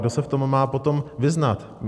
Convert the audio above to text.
Kdo se v tom má potom vyznat?